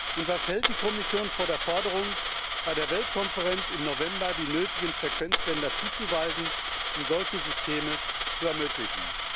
Und was hält die Kommission von der Forderung, bei der Weltkonferenz im November die nötigen Frequenzbänder zuzuweisen, um solche Systeme zu ermöglichen?